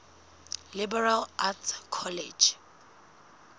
liberal arts college